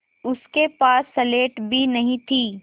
उसके पास स्लेट भी नहीं थी